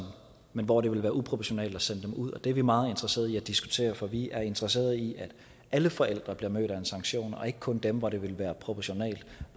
men hvor det vil være uproportionalt at sende dem ud det er vi meget interesserede i at diskutere for vi er interesserede i at alle forældre bliver mødt af en sanktion og ikke kun dem hvor det vil være proportionalt